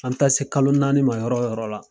An bi taa se kalo naani ma yɔrɔ yɔrɔ la.